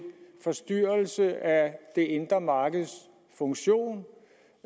forstyrrelse af det indre markeds funktion